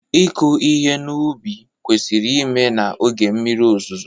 ịkụ ihe n'ubi kwesịrị ime na oge mmiri ozuzo